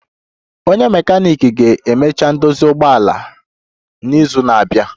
Onye mekaniiki ga-emecha ndozi ụgbọala m n'izu na-abia